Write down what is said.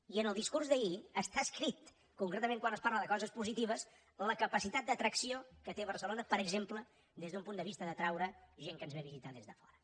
i en el discurs d’ahir està escrit concretament quan es parla de coses positives la capacitat d’atracció que té barcelona per exemple des d’un punt de vista d’atraure gent que ens ve a visitar des de fora